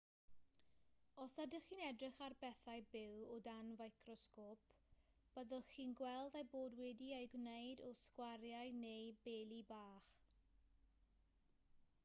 os ydych chi'n edrych ar bethau byw o dan ficrosgôp byddwch chi'n gweld eu bod wedi eu gwneud o sgwariau neu beli bach